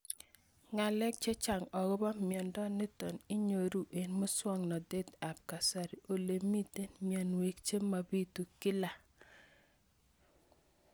Ng'alek chechang' akopo miondo nitok inyoru eng' muswog'natet ab kasari ole mito mianwek che mapitu kila